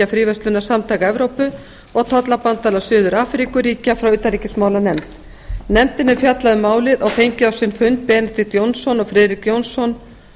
fríverslunarsamtaka evrópu og tollabandalags suður afríkuríkja frá utanríkismálanefnd nefndin hefur fjallað um málið og fengið á sinn fund benedikt jónsson og friðrik jónsson